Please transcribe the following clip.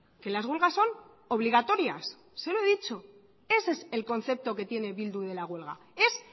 que las huelgas son obligatorias se lo he dicho ese es el concepto que tiene bildu de la huelga es